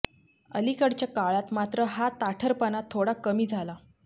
अलीकडच्या काळात मात्र हा ताठरपणा थोडा कमी झाला